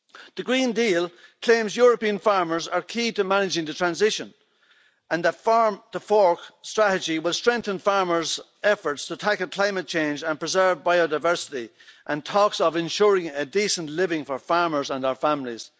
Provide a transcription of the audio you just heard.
The Green Deal claims that European farmers are key to managing the transition and that the Farm to Fork strategy will strengthen farmers' efforts to tackle climate change and preserve biodiversity, and it talks of ensuring a decent living for farmers and their families.